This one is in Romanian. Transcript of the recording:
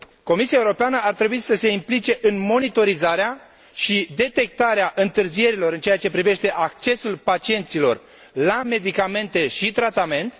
Comisia Europeană ar trebui să se implice în monitorizarea și detectarea întârzierilor în ceea ce privește accesul pacienților la medicamente și tratament.